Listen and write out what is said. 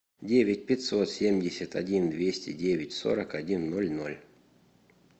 девять пятьсот семьдесят один двести девять сорок один ноль ноль